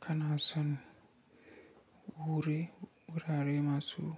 Kana son wurare masu